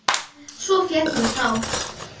Svo féllu tár.